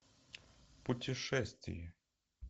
путешествие